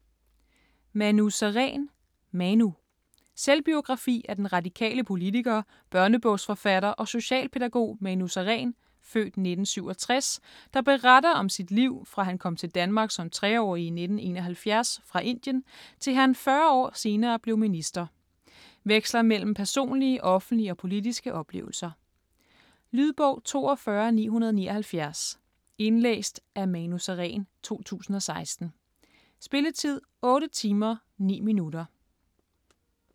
Sareen, Manu: Manu Selvbiografi af den radikale politiker, børnebogsforfatter og socialpædagog, Manu Sareen (f. 1967), der beretter om sit liv, fra han kom til Danmark som 3-årig i 1971 fra Indien til han 40 år senere blev minister. Veksler mellem personlige, offentlige og politiske oplevelser. Lydbog 42979 Indlæst af Manu Sareen, 2016. Spilletid: 8 timer, 9 minutter.